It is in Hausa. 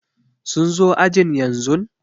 sun zo ajin yanzu?